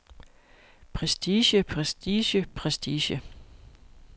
prestige prestige prestige